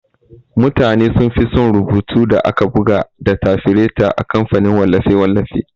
Mutane sunfi son rubutun da aka buga da tafireta a kamfanin wallafe-wallafe.